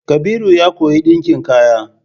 Kabiru ya koyi ɗinkin kaya.